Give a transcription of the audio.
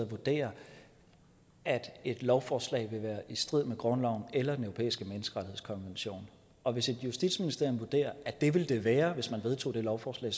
vurderer at et lovforslag vil være i strid med grundloven eller den europæiske menneskerettighedskonvention og hvis justitsministeriet vurderer at det vil det være hvis man vedtog det lovforslag